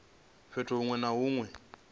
fhethu huṅwe na huṅwe hune